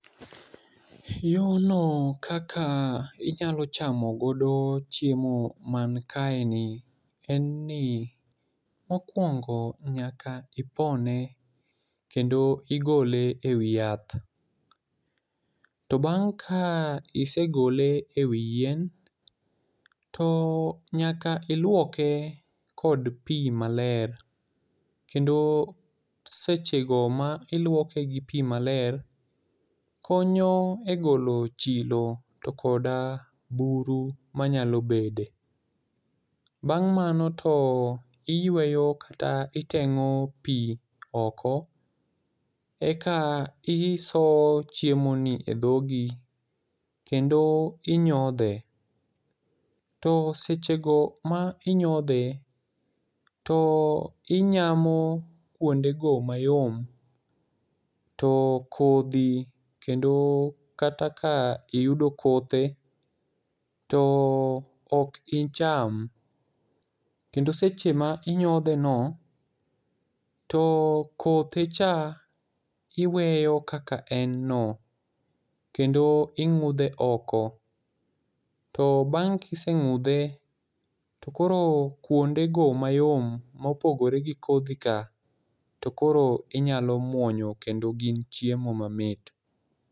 Yorno kaka inyalo chamo godo chiemo man kae ni en ni, mokwongo nyaka ipone, kendo igole e wi yath. To bang' ka isegole e wi yien, to nyaka ilwoke kod pi maler. Kendo seche go ma ilwoke gi pi maler, konyo e golo chilo to koda buru manyalo bede. Bang' mano to iyweyo kata iteng'o pi oko, eka isoyo chiemo ni e dhogi kendo inyodhe. To seche go ma inyodhe, to inyamo kuonde go mayom, to kodhi kendo kata ka iyudo kothe to ok icham. Kendo seche ma inyodhe no, to kothe cha iweyo kaka en no, kendo ing'udhe oko. To bang' ka iseng'udhe to koro kuonde go mayom ma opogore gi kodhi ka, to koro inyalo muonyo, kendo gin chiemo mamit.